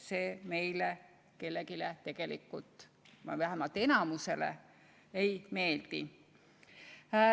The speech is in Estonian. See meile kellelegi või vähemalt enamikule ei meeldi.